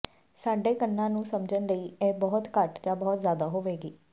ਸਾਡੇ ਕੰਨਾਂ ਨੂੰ ਸਮਝਣ ਲਈ ਇਹ ਬਹੁਤ ਘੱਟ ਜਾਂ ਬਹੁਤ ਜ਼ਿਆਦਾ ਹੋਵੇਗੀ